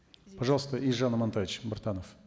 пожалуйста елжан амантаевич биртанов